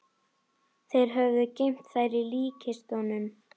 Þeir höfðu geymt þær í líkkistunum.